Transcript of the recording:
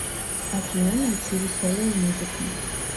афина найти веселую музыку